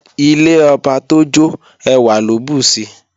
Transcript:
Ilé ọba tójó ẹwà ló bùsi